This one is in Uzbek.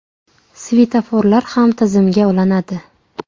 Svetoforlar ham tizimga ulanadi.